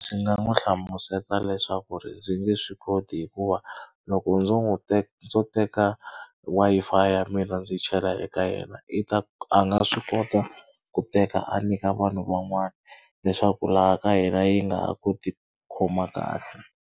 Ndzi nga n'wi hlamusela leswaku ri ndzi nge swi koti hikuva loko ndzo n'wi ndzo teka Wi-Fi ya mina ndzi chela eka yena i ta a nga swi kota ku teka a nyika vanhu van'wana leswaku laha ka yena yi nga ha koti khoma kahle.